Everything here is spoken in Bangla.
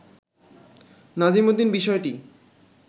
নাজিমউদ্দিন বিষয়টি